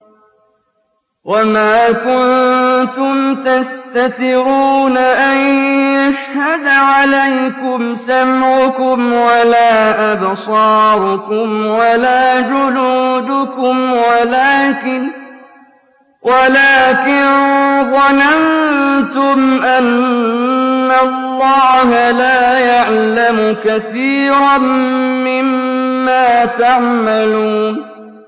وَمَا كُنتُمْ تَسْتَتِرُونَ أَن يَشْهَدَ عَلَيْكُمْ سَمْعُكُمْ وَلَا أَبْصَارُكُمْ وَلَا جُلُودُكُمْ وَلَٰكِن ظَنَنتُمْ أَنَّ اللَّهَ لَا يَعْلَمُ كَثِيرًا مِّمَّا تَعْمَلُونَ